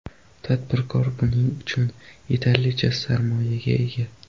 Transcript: Tadbirkor buning uchun yetarlicha sarmoyaga ega.